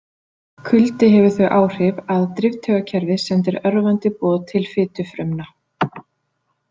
Kuldi hefur þau áhrif að driftaugakerfið sendir örvandi boð til fitufrumna.